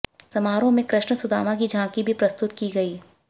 समारोह में कृष्ण सुदामा की झांकी भी प्रस्तुत की गई